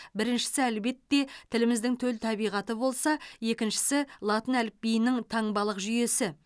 біріншісі әлбетте тіліміздің төл табиғаты болса екіншісі латын әліпбиінің таңбалық жүйесі